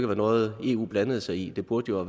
være noget eu blandede sig i det burde jo